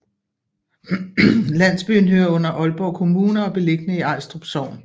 Landsbyen hører under Aalborg Kommune og er beliggende i Ajstrup Sogn